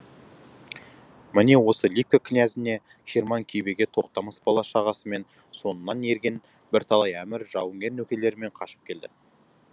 міне осы либке князіне хирман кибеге тоқтамыс бала шағасымен соңынан ерген бір талай әмір жауынгер нөкерлерімен қашып келді